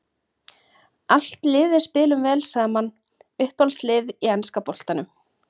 Allt liðið spilum vel saman Uppáhalds lið í enska boltanum?